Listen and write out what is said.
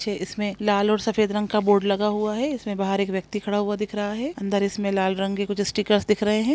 छे इसमें लाल और सफेद रंग का बोर्ड लगा हुआ है इसमें बाहर एक व्यक्ति खड़ा हुआ दिख रहा है अंदर इसमें लाल रंग के कुछ स्टिकर्स दिख रहें हैं।